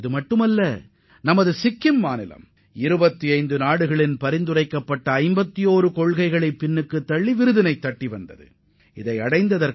இது மட்டுமின்றி 25 நாடுகளில் இருந்து வரப்பெற்ற பரிந்துரைகளை பின்னுக்குத் தள்ளி சிக்கிம் இந்த விருதை வென்றுள்ளது